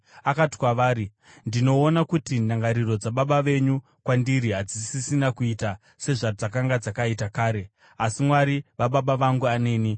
Akati kwavari, “Ndinoona kuti ndangariro dzababa venyu kwandiri hadzisisina kuita sezvadzakanga dzakaita kare, asi Mwari wababa vangu aneni.